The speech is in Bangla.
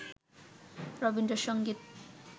রবীন্দ্র সংগীত